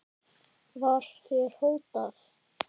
Var þér hótað?